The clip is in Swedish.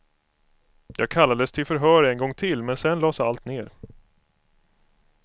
Jag kallades till förhör en gång till, men sedan lades allt ner.